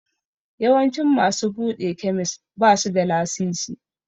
Yawancin masu buɗe kemis basu da lasisi.